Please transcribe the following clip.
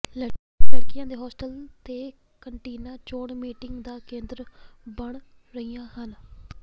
ਲਡ਼ਕੀਆਂ ਦੇ ਹੋਸਟਲ ਤੇ ਕੰਟੀਨਾਂ ਚੋਣ ਮੀਟਿੰਗ ਦਾ ਕੇਂਦਰ ਬਣ ਰਹੀਆਂ ਹਨ